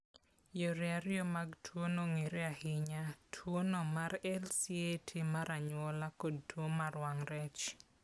Yore ariyo mag tuono ong'ere ahinya: tuono mar LCAT mar anyuola kod tuo mar wang ' rech.